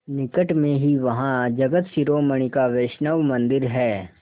निकट में ही वहाँ जगत शिरोमणि का वैष्णव मंदिर है